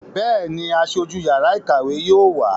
Bẹ́ẹ̀ni, Aṣojú yàrá ìkàwé yóò wá.